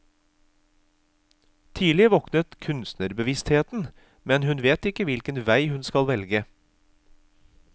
Tidlig våkner kunstnerbevisstheten, men hun vet ikke hvilken vei hun skal velge.